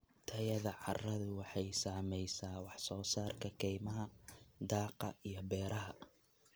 Tayada carradu waxay saamaysaa wax soo saarka kaymaha, daaqa iyo beeraha.